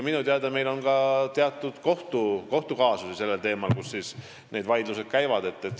Minu teada on ka teatud kohtukaasusi sellel teemal, need vaidlused käivad.